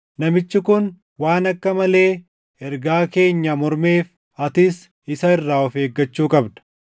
Namichi kun waan akka malee ergaa keenya mormeef atis isa irraa of eeggachuu qabda.